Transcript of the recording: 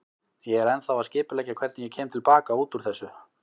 Ég er ennþá að skipuleggja hvernig ég kem til baka út úr þessu.